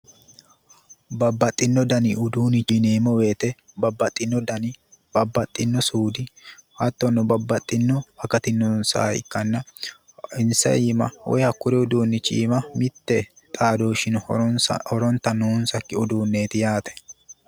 Babbaxxeyo dani uduunni yineemmo woyte babbaxxino dani babbaxxino suudi hattono babbaxxino akati noonsaha ikkanna hakkuri uduunnichi iima mitte xaadooshshi horonta noonsakki uduunneeti yaate